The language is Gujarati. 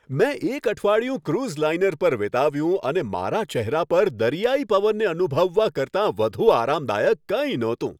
મેં એક અઠવાડિયું ક્રુઝ લાઇનર પર વિતાવ્યું, અને મારા ચહેરા પર દરિયાઈ પવનને અનુભવવા કરતાં વધુ આરામદાયક કંઈ નહોતું.